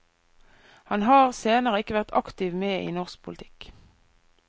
Han har senere ikke vært aktivt med i norsk politikk.